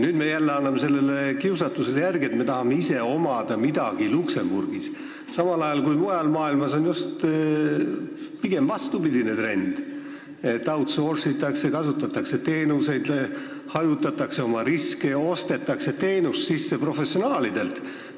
Nüüd me anname jälle sellele kiusatusele järele ja tahame ise midagi Luksemburgis omada, samal ajal kui mujal maailmas on pigem vastupidine trend: outsource'itakse, kasutatakse teenuseid, hajutatakse riske ja ostetakse teenust professionaalidelt.